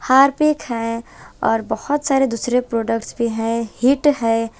Harpic है और बहुत सारे दूसरे प्रोडक्ट्स भी हैं हिट है।